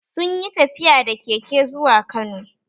Sun yi tafiya da keke zuwa kano